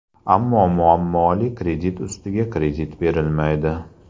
Ammo muammoli kredit ustiga kredit berilmaydi.